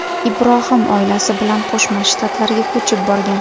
Ibrohim oilasi bilan Qo‘shma Shtatlarga ko‘chib borgan.